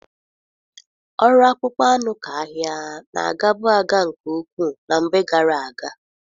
Ọrụ akpụkpọ anụ ka ahịa na-agabu aga nke ukwuu na mgbe gara aga.